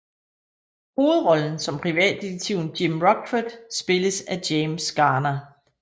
Hovedrollen som privatdetektiven Jim Rockford spilles af James Garner